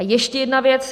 A ještě jedna věc.